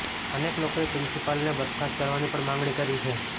અનેક લોકોએ પ્રિન્સિપાલને બરખાસ્ત કરવાની પણ માંગણી કરી છે